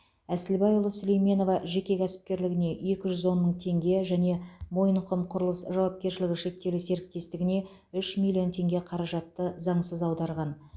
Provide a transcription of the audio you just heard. әсілбайұлы сулейменова жеке кәсіпкерлігіне екі жүз он мың тенге және мойынқұм құрылыс жауапкершілігі шектеулі серіктестігіне үш миллион теңге қаражатты заңсыз аударған